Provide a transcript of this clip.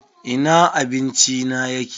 Ina abinci na yake!